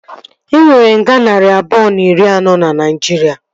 E nwere nga narị abụọ na iri anọ na Naijiria